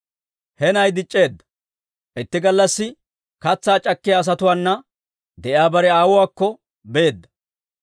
He na'ay dic'c'eedda; itti gallassi katsaa c'akkiyaa asatuwaana de'iyaa bare aawuwaakko beedda.